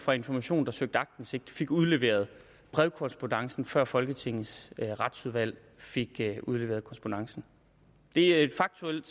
fra information der søgte aktindsigt fik udleveret brevkorrespondancen før folketingets retsudvalg fik udleveret korrespondancen det er et faktuelt